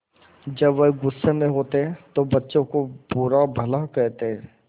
जब वह गुस्से में होते तो बच्चों को बुरा भला कहते